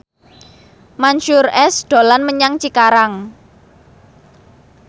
Mansyur S dolan menyang Cikarang